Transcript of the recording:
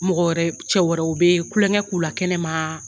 Mɔgɔ wɛrɛ, cɛ wɛrɛw bɛ kulonkɛ k' la kɛnɛmaaa.